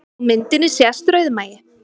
Á myndinni sést rauðmagi